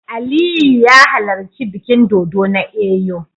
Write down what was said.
Aliyu ya halarci bikin dodo na Eyo